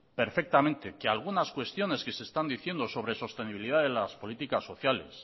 perfectamente que algunas cuestiones que se están diciendo sobre sostenibilidad en las políticas sociales